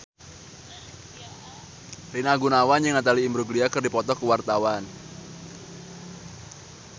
Rina Gunawan jeung Natalie Imbruglia keur dipoto ku wartawan